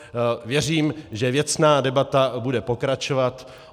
Věřím, že věcná debata bude pokračovat.